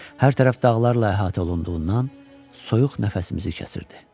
Hər tərəf dağlarla əhatə olunduğundan soyuq nəfəsimizi kəsirdi.